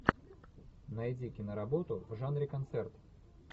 найди киноработу в жанре концерт